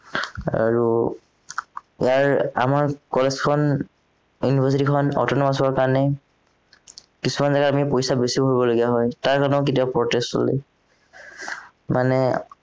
আৰু ইয়াৰ আমাৰ college খন university খন autonomous হোৱাৰ কাৰণে কিছুমান জাগাত আমি পইচা বেছিও ভৰিব লগীয়া হয় তাৰকাৰণে আমাৰ কেতিয়াবা protest চলে মানে